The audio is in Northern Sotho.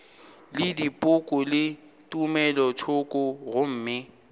le dipoko le tumelothoko gomme